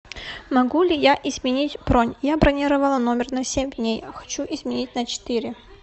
могу ли я изменить бронь я бронировала номер на семь дней а хочу изменить на четыре